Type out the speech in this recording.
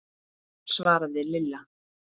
svaraði Lilla.